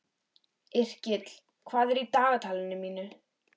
Yrkill, hvað er í dagatalinu mínu í dag?